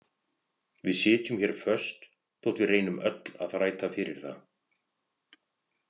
Við sitjum hér föst þótt við reynum öll að þræta fyrir það.